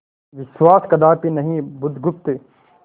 विश्वास कदापि नहीं बुधगुप्त